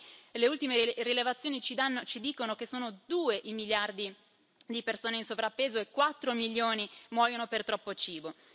Oggi le ultime rilevazioni ci dicono che sono due i miliardi di persone in sovrappeso e 4 milioni muoiono per troppo cibo.